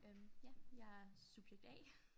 Øh ja jeg er subjekt A